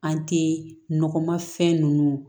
An tɛ nɔgɔmafɛn ninnu